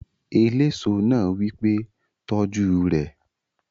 Eléso náà wí pé "tọ́jú rẹ̀!"